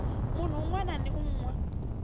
munhu wun wana na wun